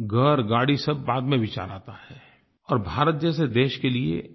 घरगाड़ी सब बाद में विचार आता है और भारत जैसे देश के लिए